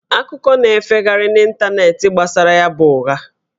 Akụkọ na-efegharị n'ịntanetị gbasara ya bụ ụgha